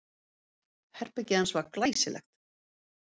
Herbergið hans var glæsilegt.